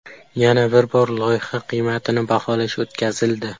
Yana bir bor loyiha qiymatini baholash o‘tkazildi.